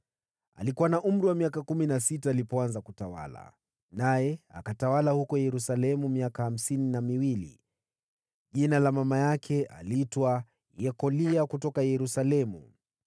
Alikuwa na umri wa miaka kumi na sita alipoanza kutawala, naye akatawala huko Yerusalemu kwa miaka hamsini na miwili. Mama yake aliitwa Yekolia wa Yerusalemu.